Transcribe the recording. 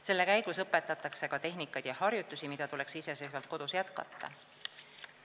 Selle käigus õpetatakse ka tehnikaid ja harjutusi, mida tuleks iseseisvalt kodus jätkata.